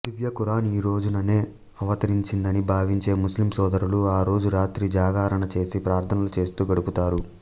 దివ్యఖురాన్ ఈ రోజుననే అవతరించిందని భావించే ముస్లిం సోదరులు ఆ రోజు రాత్రి జాగరణ చేసి ప్రార్థనలు చేస్తూ గడుపుతారు